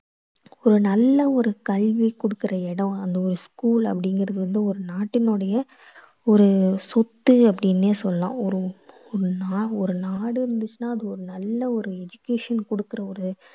ஒரு நல்ல ஒரு கல்வி குடுக்கற இடம் வந்து ஒரு school அப்படீங்குறது வந்து ஒரு நாட்டினுடய ஒரு சொத்து அப்படீன்னே சொல்லலாம். ஒரு ஒரு நா~ ஒரு நாடு இருந்துச்சுனா அது ஒரு நல்ல ஒரு education குடுக்கற ஒரு